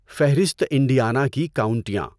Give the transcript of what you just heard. فہرست انڈیانا کی کاونٹیاں